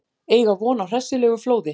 Eiga von á hressilegu flóði